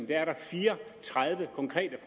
der er fire og tredive konkrete